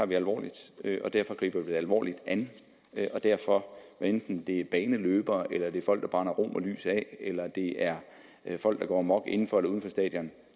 det alvorligt derfor griber vi det alvorligt an og derfor hvad enten det er baneløbere eller det er folk der brænder romerlys af eller det er folk der går amok inden for eller uden for stadion